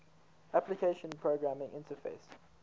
application programming interface